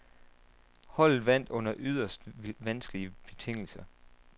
Holdet vandt under yderst vanskelige betingelser.